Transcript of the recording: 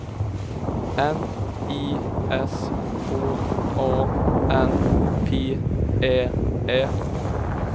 N I S K A N P Ä Ä